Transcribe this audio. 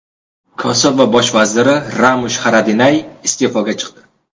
Kosovo bosh vaziri Ramush Xaradinay iste’foga chiqdi.